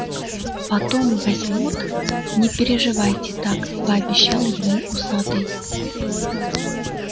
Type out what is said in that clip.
потом возьмут не переживайте так пообещал ему усатый